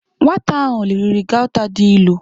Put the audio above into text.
Nwata ahu riri gauta di ilu.